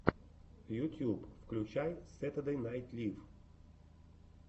ютуб включай сэтердэй найт лив